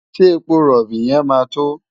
Ṣé epo rọ̀bì yẹn máa tó?